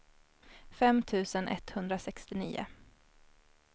fem tusen etthundrasextionio